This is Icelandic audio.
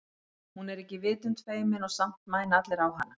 Hún er ekki vitund feimin og samt mæna allir á hana.